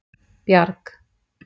Bjarg